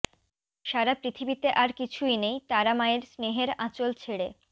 সারা পৃথিবীতে আর কিছুই নেই তারা মায়ের স্নেহের আঁচল ছেড়ে